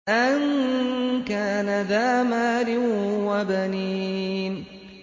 أَن كَانَ ذَا مَالٍ وَبَنِينَ